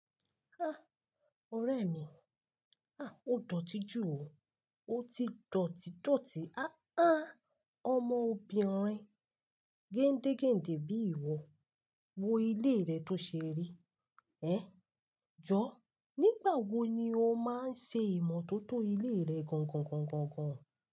Ah! Ọrẹ mi, ah! O dọ̀tí jù o, o ti dọ̀tí dọ̀tí. Ah! Ah! Ọmọ obìnrin géndégéndé bí i ìwọ, wo ilé rẹ tó ṣe rí. Eh! Jọ, nígbà wo ni o máa ń ṣe ìmọ́tótó ilé rẹ gangangangan?